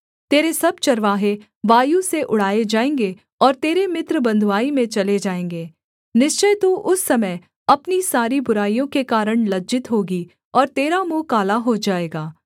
तेरे सब चरवाहे वायु से उड़ाए जाएँगे और तेरे मित्र बँधुआई में चले जाएँगे निश्चय तू उस समय अपनी सारी बुराइयों के कारण लज्जित होगी और तेरा मुँह काला हो जाएगा